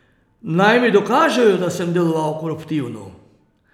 Naj mi dokažejo, da sem deloval koruptivno.